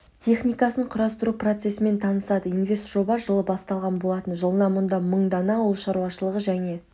техникасын құрастыру процесімен танысады инвестжоба жылы басталған болатын жылына мұнда мың дана ауыл шаруашылығы және